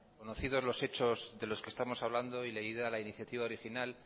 conocidos los hechos de los que estamos hablando y leída la iniciativa original